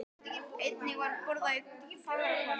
Einnig var borað í Fagrahvammi í